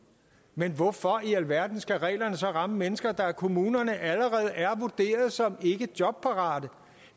men hvorfor i alverden skal reglerne så ramme mennesker der af kommunerne allerede er vurderet som ikke jobparate